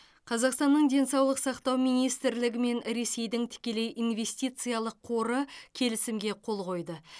қазақстанның денсаулық сақтау министрлігі мен ресейдің тікелей инвестициялық қоры келісімге қол қойды